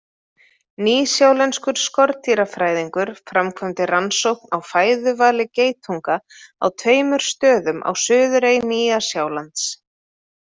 Nýsjálenskur skordýrafræðingur framkvæmdi rannsókn á fæðuvali geitunga á tveimur stöðum á suðurey Nýja-Sjálands.